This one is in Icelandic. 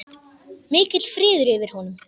Mikill friður yfir honum.